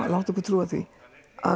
láta okkur trúa því að